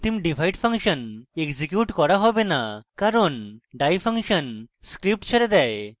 অন্তিম divide function execute করা হবে the কারণ die ফাংশন script ছেড়ে দেয়